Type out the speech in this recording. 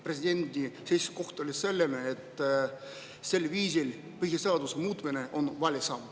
Presidendi seisukoht oli selline, et sel viisil põhiseaduse muutmine on vale samm.